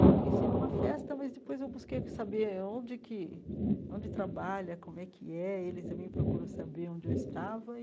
Eu conheci numa festa, mas depois eu busquei saber onde que onde trabalha, como é que é. Ele também procurou saber onde eu estava e.